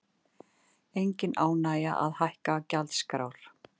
Engin ánægja að hækka gjaldskrár